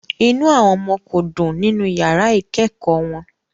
Inú àwọn ọmọ kò dùn nínú yàrá ìkẹ́kọ̀ọ́ wọn